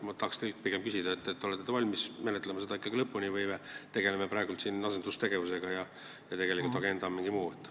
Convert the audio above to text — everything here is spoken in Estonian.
Ma tahan teilt küsida, olete te valmis seda ikkagi lõpuni menetlema või tegeleme me praegu siin asendustegevusega ja tegelik agenda on midagi muud.